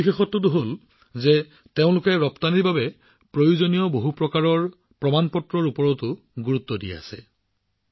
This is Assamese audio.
দ্বিতীয় বিশেষত্বটো হল যে তেওঁলোকে ৰপ্তানিৰ বাবে প্ৰয়োজনীয় বিভিন্ন প্ৰমাণপত্ৰৰ ওপৰতো গুৰুত্ব দি আছে